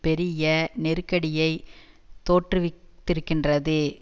பெரிய நெருக்கடியை தோற்றுவித்திருக்கின்றது